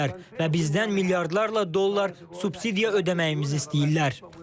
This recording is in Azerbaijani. Və bizdən milyardlarla dollar subsidiya ödəməyimizi istəyirlər.